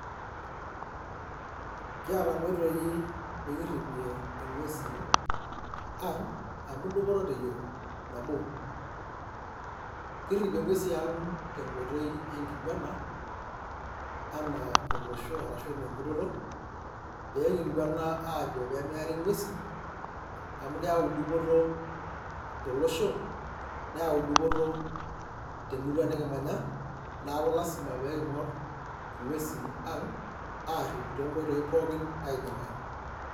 kiata nkoitoi nikirripie ng`uesi ang amu dupoto te yiok, nabo kirripie ng`uesi ang te nkoitoi e nkiguana anaa olosho arashu enaa enkutoto pee kiguana aajo pee meeri ng`uesi amu keyau dupoto tolosho neyau dupoto te murua nikimanya naaku [cs lazima pee king`or ing`uesi ang aarip to nkoitoi pookin naidimayu.